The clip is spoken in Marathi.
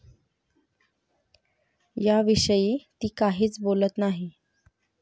याविषयी ती काहीच बोलत नाही.